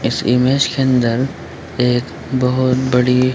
इस इमेज के अंदर एक बहुत बड़ी।